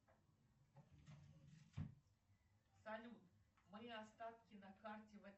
салют мои остатки на карте